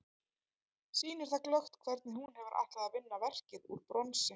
Sýnir það glöggt hvernig hún hefur ætlað að vinna verkið úr bronsi.